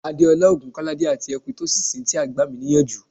Adeola Ogunkolade ati Ekwytosi Cynthia gba mi ni iyanju